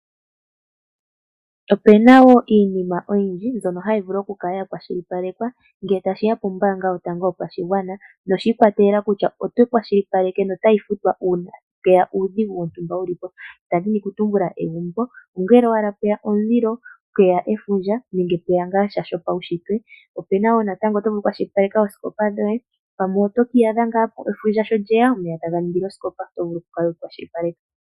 Opena wo iinima oyindji mbyono hayi vulu oku kala ya kwashilipalekwa ngele tashiya pombaanga yotango yopashigwana noshi ikwatelela kutya otayi futwa uunake. Adhini okutumbula egumbo ongele pweya omulilo, pweya efundja nenge shinwe shopaushitwe, nande osikopa ngele pweya efundja oto vulu oku kala weyi kwashilipaleka.